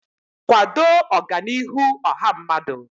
kwado Ọganihu ọha mmadụ.